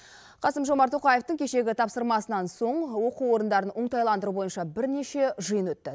қасым жомарт тоқаевтың кешегі тапсырмасынан соң оқу орындарын оңтайландыру бойынша бірнеше жиын өтті